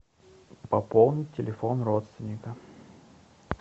пополнить телефон родственника